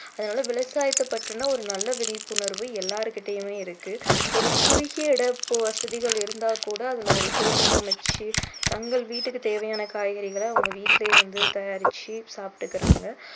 அதாவது விவசாயத்தை பற்றின ஒரு நல்ல விழிப்புணர்வு எல்லாருகிட்டேயுமே இருக்கு ஒரு குறுகிய இட வசதிகள் இருந்தா கூட அதுலே ஒரு தோட்டம் அமைச்சி தங்கள் வீட்டுக்கு தேவையான காய்கறிகளை அவங்க வீட்டுலேயே வந்து தயாரிச்சு சாப்பிட்டுக்குறாங்க